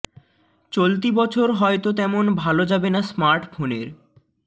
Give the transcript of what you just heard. চলতি বছর হয়তো তেমন ভাল যাবে না স্মার্ট ফোনের